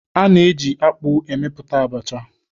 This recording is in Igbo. A na-eji akpụ emepụta abacha.